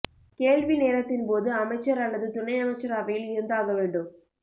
கேள்வி நேரத்தின்போது அமைச்சர் அல்லது துணை அமைச்சர் அவையில் இருந்தாக வேண்டும்